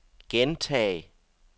gentag